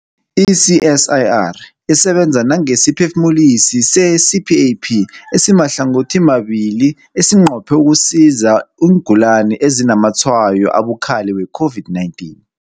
I-CSIR isebenza nangesiphefumulisi se-CPAP esimahlangothimabili esinqophe ukusiza iingulani ezinazamatshwayo abukhali we-COVID-19.